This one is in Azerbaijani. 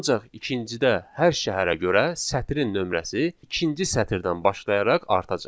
Ancaq ikincidə hər şəhərə görə sətirin nömrəsi ikinci sətirdən başlayaraq artacaq.